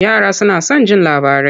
Yara suna son jin labarai.